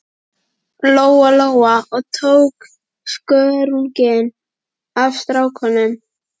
Lóa Lóa og tók skörunginn af stráknum.